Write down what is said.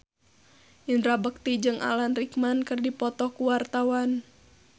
Indra Bekti jeung Alan Rickman keur dipoto ku wartawan